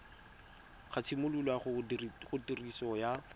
ga tshimologo ya tiriso ya